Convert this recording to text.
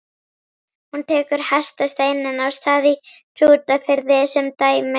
Hún tekur hestasteininn á Stað í Hrútafirði sem dæmi.